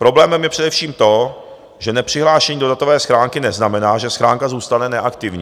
Problémem je především to, že nepřihlášení do datové schránky neznamená, že schránka zůstane neaktivní.